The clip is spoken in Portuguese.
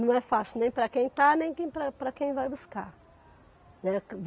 Não é fácil nem para quem está, nem quem para para quem vai buscar, né.